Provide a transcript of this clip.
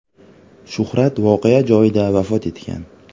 Shuhrat voqea joyida vafot etgan.